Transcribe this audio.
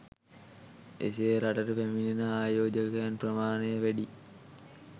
එසේ රටට පැමිණෙන ආයෝජකයන් ප්‍රමාණය වැඩි